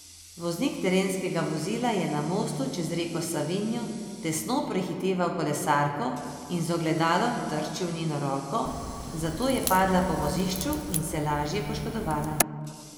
Voznik terenskega vozila je na mostu čez reko Savinjo tesno prehiteval kolesarko in z ogledalom trčil v njeno roko, zato je padla po vozišču in se lažje poškodovala.